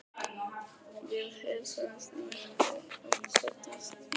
Við heilsuðumst í myrkri og kvöddumst í myrkri.